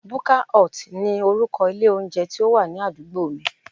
Buka hut ni orúkọ ilé oúnjẹ tí ó wà ní àdúgbò mi